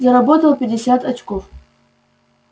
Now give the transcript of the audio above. заработал пятьдесят очков